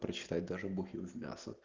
прочитать даже бухим в мясо